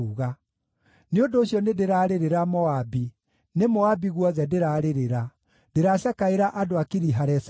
“Nĩ ũndũ ũcio nĩndĩrarĩrĩra Moabi, nĩ Moabi guothe ndĩrarĩrĩra, ndĩracakaĩra andũ a Kiri-Haresethi.